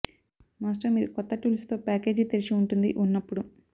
master మీరు కొత్త tools తో ప్యాకేజీ తెరిచి ఉంటుంది ఉన్నప్పుడు